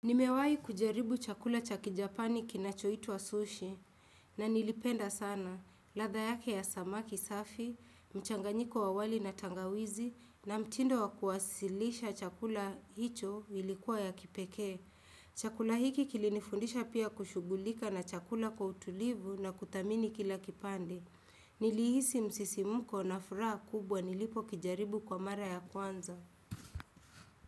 Nimewahi kujaribu chakula cha kijapani kinachoitwa sushi na nilipenda sana, ladha yake ya samaki safi, mchanganyiko wa wali na tangawizi na mtindo wa kuwasilisha chakula hicho ilikuwa ya kipekee. Chakula hiki kilinifundisha pia kushughulika na chakula kwa utulivu na kuthamini kila kipande. Nilihisi msisimko na furaha kubwa nilipokijaribu kwa mara ya kwanza.